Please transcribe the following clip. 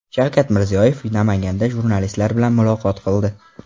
Shavkat Mirziyoyev Namanganda jurnalistlar bilan muloqot qildi.